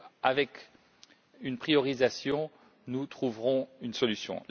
Avec une priorisation, nous trouverons une solution.